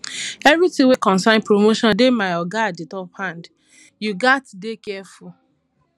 everytin wey concern promotion dey my oga at di di top hand you gats dey careful